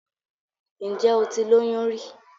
Ǹjẹ́ o ti lóyún rí?